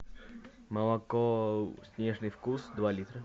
молоко снежный вкус два литра